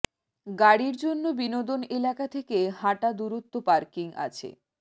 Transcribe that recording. গাড়ির জন্য বিনোদন এলাকা থেকে হাঁটা দূরত্ব পার্কিং আছে